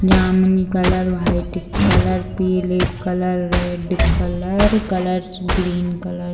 जामुनी colour white colour पीली colour red colour colour green colour .